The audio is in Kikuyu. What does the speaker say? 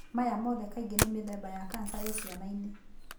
Maya mothe kaingĩ ni mũthemba wa cancer ĩĩ ciana-inĩ.